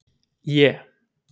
É